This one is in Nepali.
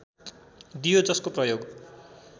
दियो जसको प्रयोग